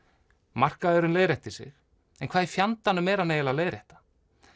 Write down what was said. markaðurinn leiðréttir sig en hvað í fjandanum er hann að leiðrétta